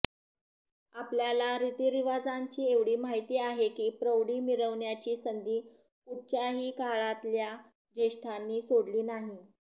आपल्याला रीतिरिवाजांची एवढी माहिती आहे ही प्रौढी मिरवण्याची संधी कुठच्याही काळातल्या ज्येष्ठांनी सोडली नाही